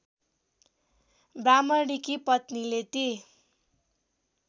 ब्राह्मणकी पत्नीले ती